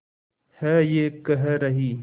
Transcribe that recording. है ये कह रही